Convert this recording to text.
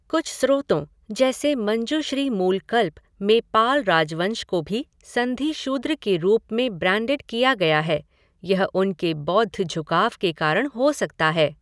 कुछ स्रोतों, जैसे मंजुश्री मूलकल्प, में पाल राजवंश को भी ''संधि शूद्र'' के रूप में ब्रैंडेड किया गया है यह उनके बौद्ध झुकाव के कारण हो सकता है।